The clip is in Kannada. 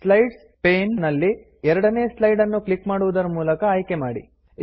ಸ್ಲೈಡ್ಸ್ ಪೇನ್ ನಲ್ಲಿ ಎರಡನೇ ಸ್ಲೈಡ್ ನ್ನು ಕ್ಲಿಕ್ ಮಾಡುವುದರ ಮೂಲಕ ಆಯ್ಕೆ ಮಾಡಿ